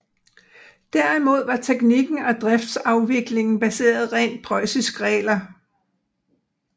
Derimod var teknikken og driftsafviklingen baseret rent preussiske regler